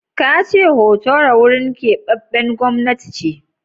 Ka ce Hotoro wurin keɓaɓɓen gwamnati ce?